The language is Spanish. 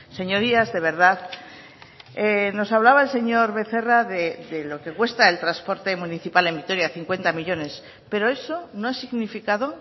señorías de verdad nos hablaba el señor becerra de lo que cuesta el transporte municipal en vitoria cincuenta millónes pero eso no ha significado